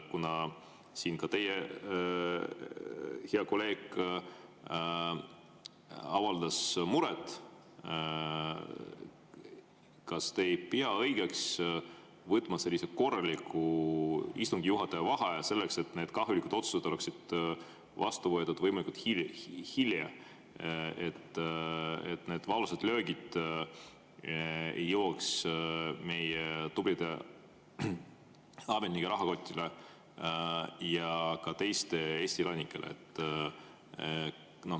Kuna siin ka teie hea kolleeg avaldas seda muret, kas te ei pea õigeks võtta korralik istungi juhataja vaheaeg selleks, et need kahjulikud otsused saaksid vastu võetud võimalikult hilja, et need valusad löögid ei tabaks meie tublide ametnike ega ka teiste Eesti elanike rahakotti?